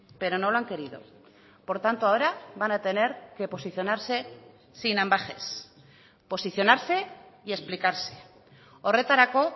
pero no lo han querido por tanto ahora van a tener que posicionarse sin ambages posicionarse y explicarse horretarako